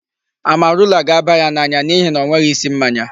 Amarula ga-aba ya n'anya n'ihi na ọ nweghị isi mmanya.